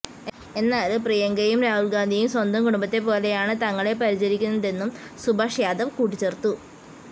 എന്നാല് പ്രിയങ്കയും രാഹുല് ഗാന്ധിയും സ്വന്തം കുടുംബത്തെ പോലെയാണ് തങ്ങളെ പരിചരിക്കുന്നതെന്നും സുഭാഷ് യാദവ് കൂട്ടിച്ചേര്ത്തു